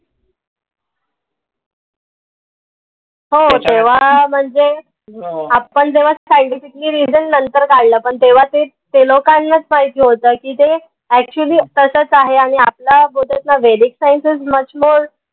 तेवा म्हनजे आपन जेव्हा scientifically reason नंतर काढलं पन तेवा ते ते लोकांनाच माहिती होत की ते actually तसच आहे आनि आपला बोलतात ना Vedic science is much more